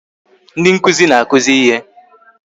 Ndi nkụzi na-akụzi ihe